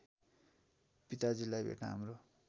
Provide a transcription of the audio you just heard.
पिताजीलाई भेट्न हाम्रो